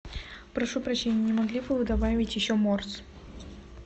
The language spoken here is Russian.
прошу прощения не могли бы вы добавить еще морс